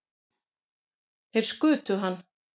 Þeir skutu hann